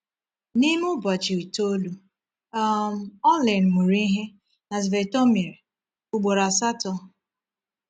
N’ime ụbọchị itoolu, um Orlin mụrụ ihe na Svetomir ugboro asatọ.